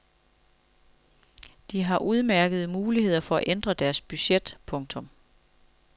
De har udmærkede muligheder for at ændre deres budget. punktum